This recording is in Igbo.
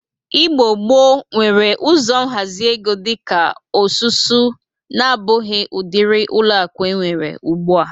Igbo gboo nwere ụzọ nhazi ego dị ka osusu na-abụghi udịri ọlụakụ enwere ugbụ a.